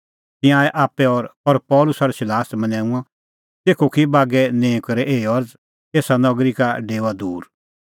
तिंयां आऐ आप्पै और पल़सी और सिलास मनैंऊंऐं तेखअ की बागै निंईं करै एही अरज़ एसा नगरी का डेओआ दूर